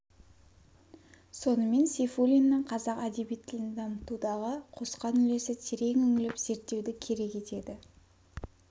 сонымен сейфуллиннің қазақ әдеби тілін дамытудағы қосқан үлесі терең үңіліп зерттеуді керек етеді